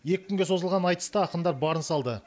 екі күнге созылған айтыста ақындар барын салды